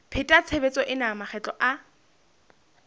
pheta tshebetso ena makgetlo a